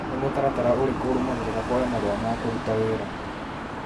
Nĩ mutaratara ũrĩku ũrũmagĩrĩra kũoya marũa ma kũruta wĩra?